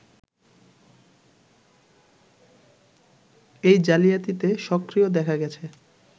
এই জালিয়াতিতে সক্রিয় দেখা গেছে